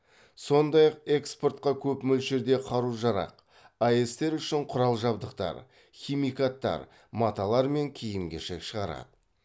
сондай ақ экспортқа көп мөлшерде қару жарақ аэс тер үшін құрал жабдықтар химикаттар маталар мен киім кешек шығарады